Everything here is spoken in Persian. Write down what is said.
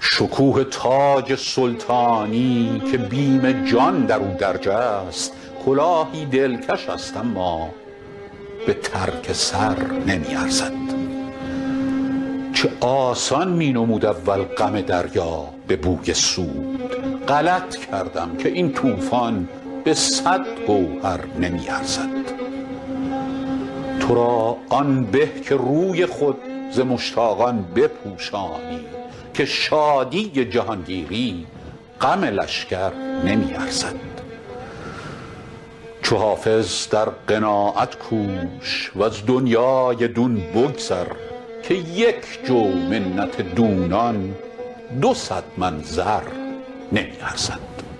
شکوه تاج سلطانی که بیم جان در او درج است کلاهی دلکش است اما به ترک سر نمی ارزد چه آسان می نمود اول غم دریا به بوی سود غلط کردم که این طوفان به صد گوهر نمی ارزد تو را آن به که روی خود ز مشتاقان بپوشانی که شادی جهانگیری غم لشکر نمی ارزد چو حافظ در قناعت کوش و از دنیای دون بگذر که یک جو منت دونان دو صد من زر نمی ارزد